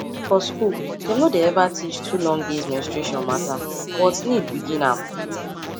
for school dem no dey ever teach too long days menstruation matter but need begin am